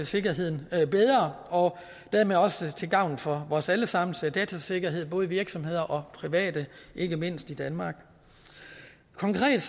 sikkerheden bedre dermed også til gavn for vores alle sammens datasikkerhed både i virksomheder og private ikke mindst i danmark konkret